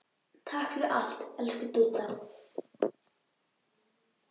Takk fyrir allt, elsku Dúdda.